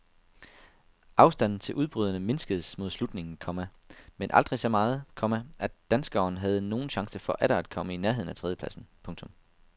Afstanden til udbryderne mindskedes mod slutningen, komma men aldrig så meget, komma at danskeren havde nogen chance for atter at komme i nærheden af tredjepladsen. punktum